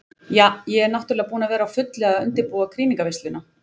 Ja, ég er náttúrulega búin að vera á fullu að undirbúa krýningarveisluna.